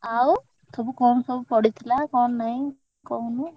ଆଉ ସବୁ କଣ ସବୁ ପଡିଥିଲା କଣ ନାଇଁ କହୁନୁ।